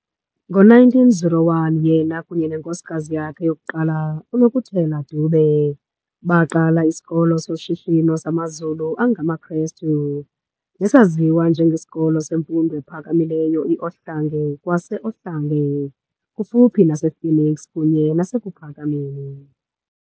Ngo-1901 yena kunye nenkosikazi yakhe yokuqala, uNokutela Dube, baqala isikolo soshishino samaZulu angamaKrestu, nesaziwa nje ngesiKolo semfundo ephakamileyo i-Ohlange kwase-Ohlange, kufuphi nasePhoenix kunye nasEkuPhakameni.